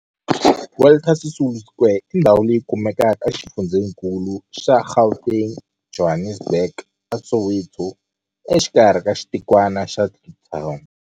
Walter Sisulu Square i ndhawu leyi kumekaka exifundzheninkulu xa Gauteng, Johannesburg, a Soweto, exikarhi ka xitikwana xa Kliptown.